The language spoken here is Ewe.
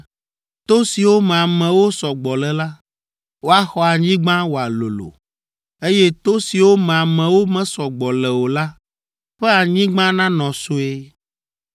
To siwo me amewo sɔ gbɔ le la, woaxɔ anyigba wòalolo, eye to siwo me amewo mesɔ gbɔ le o la ƒe anyigba nanɔ sue.